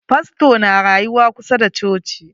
Fastor na rayuwa kusa da coci.